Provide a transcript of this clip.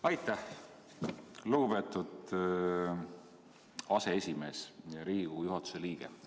Aitäh, lugupeetud aseesimees ja Riigikogu juhatuse liige!